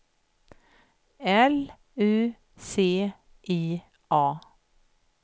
L U C I A